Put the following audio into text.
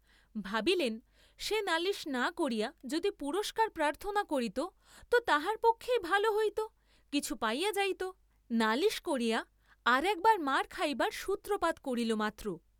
ভাবিলেন, সে নালিস না করিয়া যদি পুরস্কার প্রার্থনা করিত তো তাহার পক্ষেই ভাল হইত, কিছু পাইয়া যাইত, নালিস করিয়া আর একবার মার খাইবার সূত্রপাত করিল মাত্র।